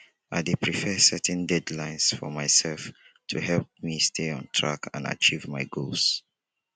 i dey prefer setting deadlines for myself to help me stay on track and achieve my goals